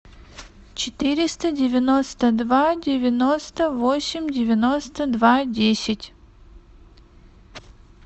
четыреста девяносто два девяносто восемь девяносто два десять